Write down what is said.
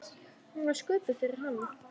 Hún var sköpuð fyrir hann.